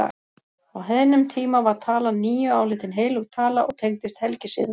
Á heiðnum tíma var talan níu álitin heilög tala og tengdist helgisiðum.